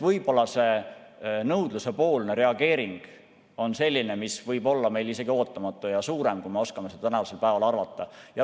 Võib-olla see nõudlusepoolne reageering on selline, mis võib olla isegi ootamatum ja suurem, kui me oskame seda tänasel päeval arvata.